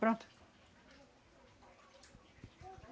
Pronto.